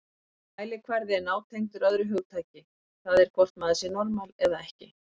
Þessi mælikvarði er nátengdur öðru hugtaki, það er hvort maður sé normal eða ekki.